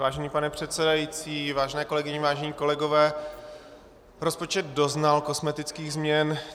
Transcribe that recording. Vážený pane předsedající, vážené kolegyně, vážení kolegové, rozpočet doznal kosmetických změn.